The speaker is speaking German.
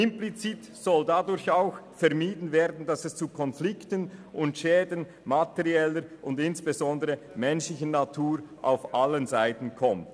Implizit soll dadurch auch vermieden werden, dass es zu Konflikten und Schäden materieller und insbesondere menschlicher Natur auf allen Seiten kommt.